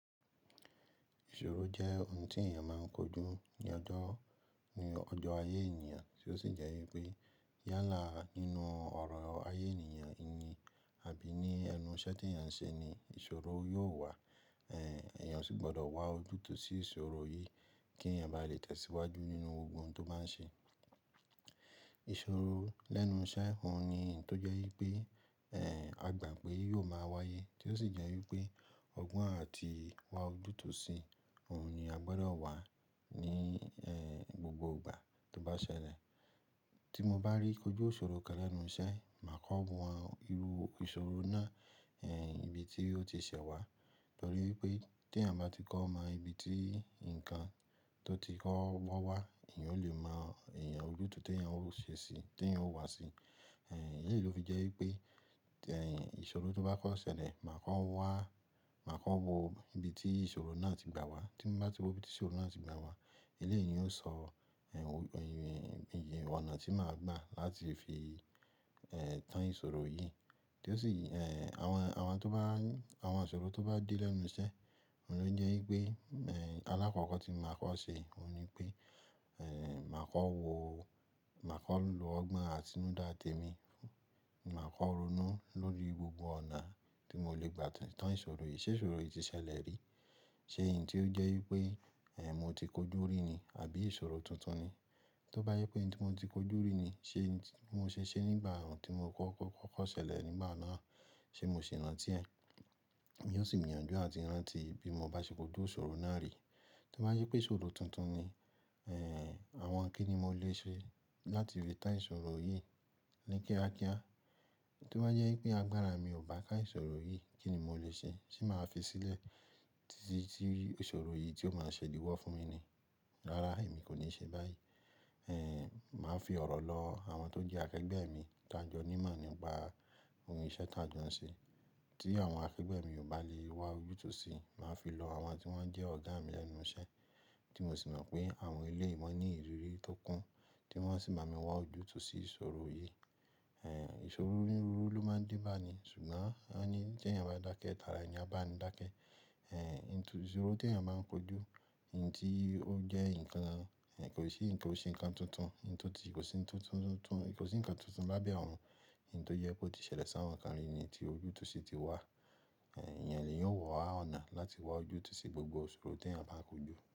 Ìṣòro jẹ́ ohun tí èèyàn máa ń kojú ní ọjọ́, ní ọjọ́ ayé èèyàn, tí ó sì jẹ́ wípé yálà nínú ọ̀rọ̀ ayé èèyàn ìní àbí ní ẹnu ìṣẹ́ tí èèyàn ń ṣe ni ìṣòro yóò wà. Ẹ̀ẹ̀, èèyàn sì gbọ́dọ̀ wá ojútùú sí ìṣòro yìí kí èèyàn bá lè tẹ̀síwájú nínú ohun tó máa ń ṣe. Ìṣòro lẹ́nu iṣẹ́, òun ni ohun tó jẹ́ wípé, ẹ́, a gbà pé yóò máa wáyé, tí ó sì jẹ́ wípé ọgbọ́n àti wá ojútùú sí òun ni a gbọ́dọ̀ wà ní, ẹ́, gbogbo ìgbà tó bá ṣẹlẹ̀. Tí mo bá ríi kójú òṣòro kan lẹ́nu iṣẹ́, màá kọ́ wọn irú ìṣòro náà, ẹ́, ibi tí ó ti ṣẹ wá. Nítorí wípé tí èèyàn bá ti kọ́ ma ibi tí nǹkan tó ti kọ́ wọ́ wá, èèyàn ó lè mọ èèyàn ojútùú tí èèyàn ó ṣe sí, tí èèyàn ó wà sí. Ẹ̀, èyí ló fi jẹ́ wípé, ẹ́, ìṣòro tó bá kọ́ ṣẹlẹ̀, màá kọ́ wá, màá kọ́ wo ibi tí ìṣòro náà ti gbà wá. Tí mo bá ti wo ibi tí ìṣòro náà ti gbà wá, ilé yìí ó sọ, ẹ́, ohun, ìyì, ọ̀nà tí màá gbà láti fi, ẹ́, tán ìṣòro yìí. Tí ó sì, ẹ́, àwọn, àwọn tó bá, àwọn àṣòro tó bá dé lẹ́nu iṣẹ́, òun ló ń jẹ́ wípé, ẹ́, alákọ̀ọ́kọ́ tí mo máa kọ́ ṣe òun ni pé, ẹ́, màá kọ́ wo, màá kọ́ lo ọgbọ́n àtinúdá tèmi, màá kọ́ ronú lórí gbogbo ọ̀nà tí mo lè gbà tán ìṣòro yìí. Ṣé ìṣòro yìí ti ṣẹlẹ̀ rí? Ṣé ohun tí ó jẹ́ wípé, ẹ́, mo ti kojú rí ni? Àbí ìṣòro tuntun ni? Tí ó bá jẹ́ pé ohun tí mo ti kojú rí ni, ṣe mo ṣe ṣé nígbà ohun tí mo kọ́, kọ́, kọ́ ṣẹlẹ̀ nígbà náà, ṣe mo ṣe rántí ẹ? Mo yóò sì yànjú àti rántí bí mo bá ṣe kojú òṣòro náà rí. Tí ó bá jẹ́ pé ìṣòro tuntun ni, ẹ́, àwọn kí ni mo lè ṣe láti lè tán ìṣòro yìí ní kíákíá? Tí ó bá jẹ́ wípé agbára mi ò bá ká ìṣòro yìí, kí ni mo lè ṣe? Ṣé màá fi sílẹ̀ tí, tí ìṣòro yìí tí ó máa ṣẹ̀díwọ́ fún mi ni? Rárá, èmi kò ní ṣe báyìí. Ẹ́, màá fi ọ̀rọ̀ lọ àwọn tó jẹ́ akẹgbẹ́ mi, tọ́ jọ ní mọ̀ nípa ohun ìṣẹ́ tá ń dun ṣe. Tí àwọn akẹgbẹ́ mi ò bá lè wá ojútùú sí i, màá fi lọ àwọn tí wọ́n jẹ́ ọ̀gá mi lẹ́nu iṣẹ́ tí mo sì mọ̀ pé àwọn ilé wọn ní ìrírí tó kún tí wọ́n sì máa mi wá ojútùú sí ìṣòro yìí. Ẹ̀, ìṣòro rírú ló máa ń dín bá ni, ṣùgbọ́n wọ́n ní kí èèyàn bá dákẹ́, tara èèyàn bá ni dákẹ́. Ẹ̀, ohun tí ìṣòro tí èèyàn máa ń kojú, ohun tí ó jẹ́ nǹkan, ẹ́, kò sí nǹkan ó ṣe nǹkan tuntun, ohun tó ti kò sí tuntun tuntun tuntun, kò sí nǹkan tuntun lábẹ́ ọ̀run. Ohun tó yẹ kó ti ṣẹlẹ̀ sáwọn nǹkan rí ni tí ojútùú sì ti wá. Ẹ̀, èèyàn lè yóò wá ọ̀nà láti wá ojútùú sí gbogbo ìṣòro tí èèyàn bá kojú.